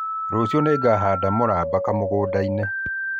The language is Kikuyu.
Rũciũ nĩngahanda mũramba kamũgũnda-inĩ